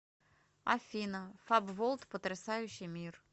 афина фаб волд потрясающий мир